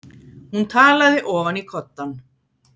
Hún talaði ofan í koddann.